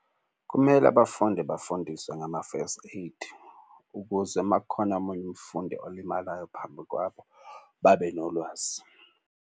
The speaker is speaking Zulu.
Kumele abafundi bafundiswe ngama-first aid, ukuze uma kukhona omunye umfundi olimalayo phambi kwabo babe nolwazi.